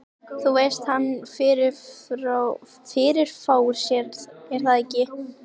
Þú veist að hann. fyrirfór sér, er það ekki?